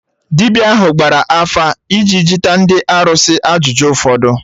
Dibịa ahụ gbara afa iji juta ndị arụsị ajụjụ ụfọdụ